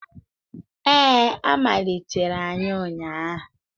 Ee, a malitere anyị ụnyahụ